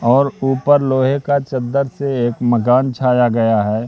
और ऊपर लोहे का चद्दर से एक मकान छाया हुआ है।